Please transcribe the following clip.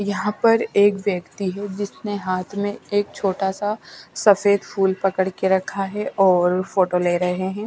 यहाँ पर एक व्यक्ति है जिसने हाथ में एक छोटा सा सफेद फूल पकड़ के रखा है और फोटो ले रहे हैं।